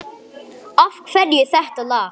Af hverju þetta lag?